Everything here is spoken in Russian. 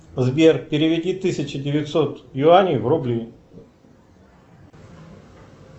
сбер переведи тысячу девятьсот юаней в рубли